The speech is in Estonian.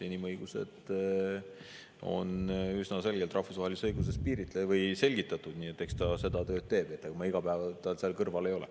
Inimõigused on üsna selgelt rahvusvahelises õiguses selgitatud, nii et eks ta seda tööd teeb, ega ma iga päev tal seal kõrval ei ole.